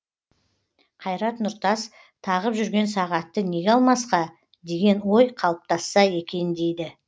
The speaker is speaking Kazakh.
қайрат нұртас тағып жүрген сағатты неге алмасқа деген ой қалыптасса екен дейді